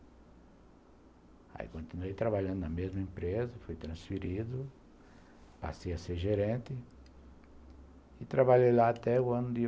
Aí continuei trabalhando na mesma empresa, fui transferido, passei a ser gerente e trabalhei lá até o ano de